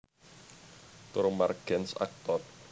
Torro Margens aktor